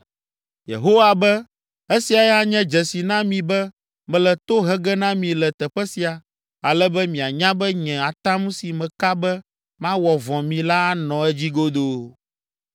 “Yehowa be, ‘Esia anye dzesi na mi be mele to he ge na mi le teƒe sia, ale be mianya be nye atam si meka be mawɔ vɔ̃ mi la anɔ edzi godoo.’